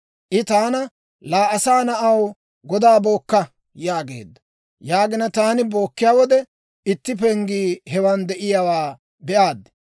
I taana, «Laa asaa na'aw, godaa bookka» yaageedda; taani bookkiyaa wode, itti penggii hewan de'iyaawaa be'aad.